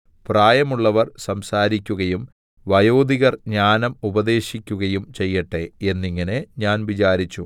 പ്രായമുള്ളവർ സംസാരിക്കുകയും വയോധികർ ജ്ഞാനം ഉപദേശിക്കുകയും ചെയ്യട്ടെ എന്നിങ്ങനെ ഞാൻ വിചാരിച്ചു